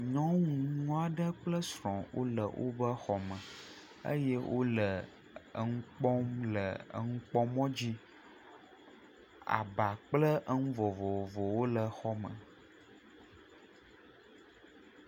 Nyɔnu nyo aɖe kple srɔ̃ ole oƒe xɔ me eye ole enu kpɔm le enukpɔmɔ dzi. Aba kple enu vovovowo wole xɔ me.